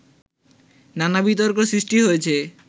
নানা বিতর্ক সৃষ্টি হয়েছে